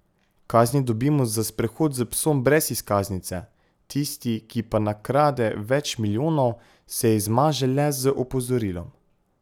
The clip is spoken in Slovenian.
Kazni dobimo za sprehod s psom brez izkaznice, tisti, ki pa nakrade več milijonov, se izmaže le z opozorilom.